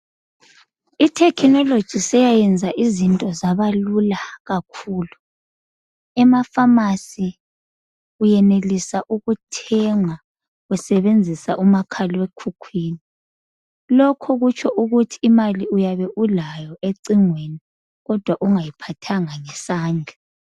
Ithekhinoloji seyayenza izinto zabalula kakhulu. EmaFamasi uyenelisa ukuthenga usebenzisa umakhalekhukhwini. Lokho kutsho ukuthi imali uyabe ulayo ecingweni kodwa ungayiphathanga ngesandla.